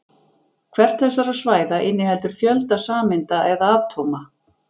Hvert þessara svæða inniheldur fjölda sameinda eða atóma.